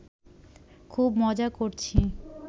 খুব মজা করছি